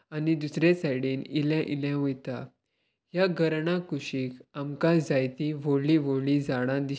आनी दुसरे सायडीन इले इले वयता या घरणा कुशीत आमका जायतीं ह्वोडली ह्वोडली झाडा दीस --